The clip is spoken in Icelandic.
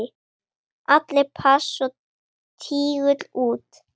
Allir pass og tígull út!